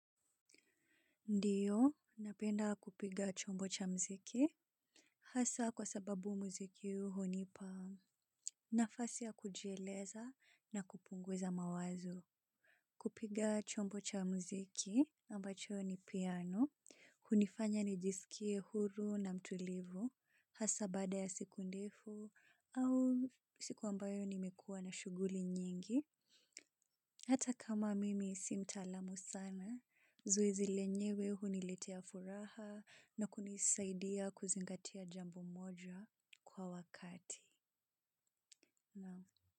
Ndiyo, napenda kupiga chombo cha mziki. Hasaa kwa sababu mziki huo hunipa. Nafasi ya kujieleza na kupunguza mawazo. Kupiga chombo cha mziki ambacho ni piano. Hunifanya nijisikie huru na mtulivu. Hasaa baada ya siku ndefu au siku ambayo nimekua na shughuli nyingi. Hata kama mimi si mtaalam sana. Zoezi lenyewe huniletea furaha na kunisaidia kuzingatia jambo moja kwa wakati.